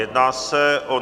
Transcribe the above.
Jedná se o